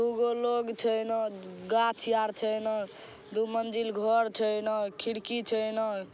दू गो लोग छै एना गाछ यार छै एना दू मंजिल घर छै एना खिड़की छै इना --